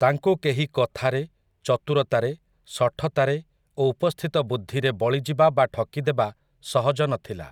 ତାଙ୍କୁ କେହି କଥାରେ, ଚତୁରତାରେ, ଶଠତାରେ ଓ ଉପସ୍ଥିତ ବୁଦ୍ଧିରେ ବଳିଯିବା ବା ଠକିଦେବା ସହଜ ନଥିଲା ।